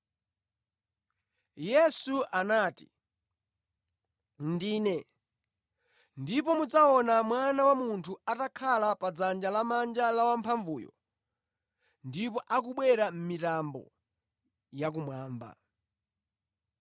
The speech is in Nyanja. Yesu anati, “Ndine, ndipo mudzaona Mwana wa Munthu atakhala kudzanja lamanja la Wamphamvuzonse ndipo akubwera mʼmitambo ya kumwamba.”